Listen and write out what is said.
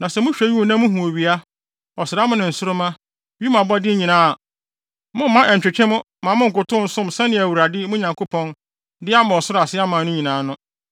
Na sɛ mohwɛ wim na muhu owia, ɔsram ne nsoromma, wim abɔde nyinaa a, momma ɛnntwetwe mo mma monnkotow nsom nneɛma a Awurade, mo Nyankopɔn, de ama ɔsoro ase aman no nyinaa no.